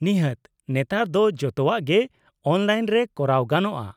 -ᱱᱤᱦᱟᱹᱛ! ᱱᱮᱛᱟᱨ ᱫᱚ ᱡᱚᱛᱚᱣᱟᱜ ᱜᱮ ᱚᱱᱞᱟᱭᱤᱱ ᱨᱮ ᱠᱚᱨᱟᱣ ᱜᱟᱱᱚᱜᱼᱟ ᱾